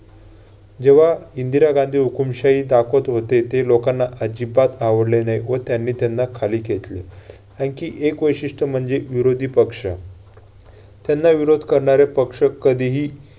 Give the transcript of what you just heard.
जेव्हा इंदिरा गांधी हुकूमशाही दाखवत होते ते लोकांना आजिबात आवडले नाही व त्यांनी त्यांना खाली खेचले. आणखी एक वैशिष्ट्य म्हणजे विरोधी पक्ष. त्यांना विरोध करणारे पक्ष कधीही